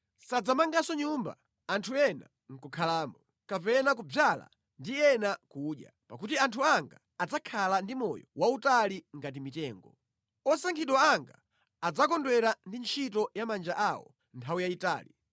Sadzamanganso nyumba anthu ena nʼkukhalamo, kapena kudzala ndi ena nʼkudya. Pakuti anthu anga adzakhala ndi moyo wautali ngati mitengo. Osankhidwa anga adzakondwera ndi ntchito ya manja awo nthawi yayitali.